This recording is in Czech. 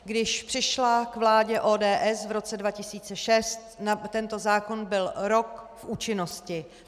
Když přišla k vládě ODS v roce 2006, tento zákon byl rok v účinnosti.